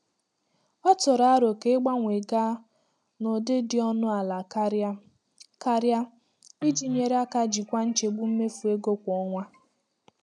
Ọ tụrụ aro ka ịgbanwee gaa na ụdị dị ọnụ ala karịa karịa iji nyere aka jikwaa nchegbu mmefu ego kwa ọnwa.